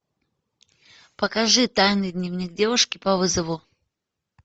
покажи тайный дневник девушки по вызову